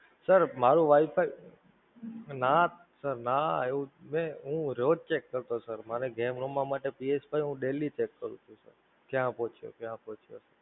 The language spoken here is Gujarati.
Sir, મારું Wi-Fi, નાં Sir નાં એવું છે, હું રોજ cheque કરતો તો મને Game રમવા માટે ભી હું Daily check કરતો તો ક્યાં પોચ્યું? ક્યાં પોચ્યું?